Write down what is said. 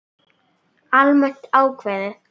Almennt ákvæði.